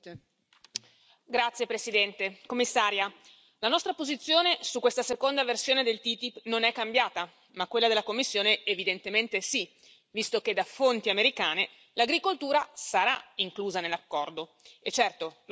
Signora Presidente, signora Commissaria, onorevoli colleghi, la nostra posizione su questa seconda versione del TTIP non è cambiata, ma quella della Commissione evidentemente sì, visto che da fonti americane l'agricoltura sarà inclusa nell'accordo. E certo!